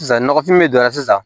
Sisan nɔgɔfin min donna sisan